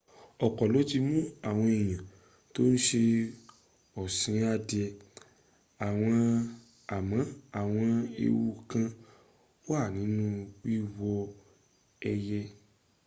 ọ̀pọ̀ ló ti mún àwọn èèyàn tó ń ṣe ọ̀sìn adìẹ àmọ́ àwọn ewu kán wà nínú wíwó ẹyẹ